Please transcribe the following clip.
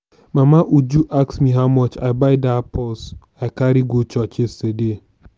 mama uju ask me how much i buy dat purse i carry go church yesterday